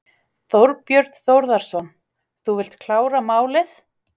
Þorbjörn Þórðarson: Þú vilt klára málið?